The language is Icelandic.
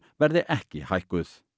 verði ekki hækkuð